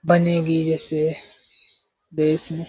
बनेगी ऐसे देश में --